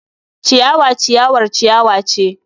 Ciyawa ciyawar ciyawa ce.